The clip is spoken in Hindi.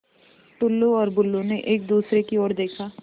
टुल्लु और बुल्लु ने एक दूसरे की ओर देखा